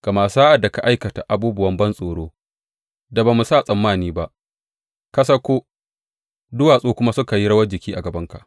Gama sa’ad da ka aikata abubuwan bantsoron da ba mu sa tsammani ba, ka sauko, duwatsu kuma suka yi rawar jiki a gabanka.